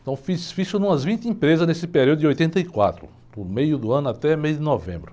Então, fiz ficha em umas vinte empresas nesse período de oitenta e quatro, do meio do ano até meio de novembro.